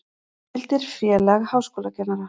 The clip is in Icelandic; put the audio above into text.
Heimildir Félag háskólakennara.